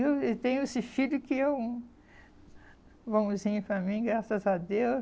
Eu e tenho esse filho que é um vãozinho para mim, graças a Deus.